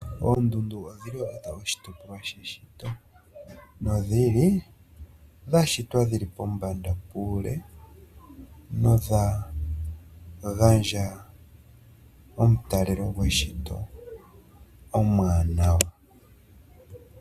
Oondundu odhili onga oshitopolwa she shito, no dhili dha shitwa dhili pombanda puule nodha gandja omutalelo gweshito omwaanawa.